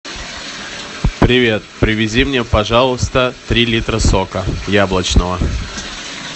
привет привези мне пожалуйста три литра сока яблочного